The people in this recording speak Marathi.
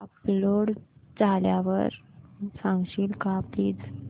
अपलोड झाल्यावर सांगशील का प्लीज